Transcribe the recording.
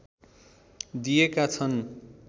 दिएका छन्